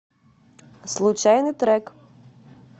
случайный трек